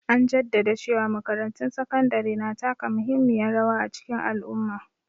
An jaddada cewa makarantun sakandare na taka muhimmiyar rawa a cikin al'umma.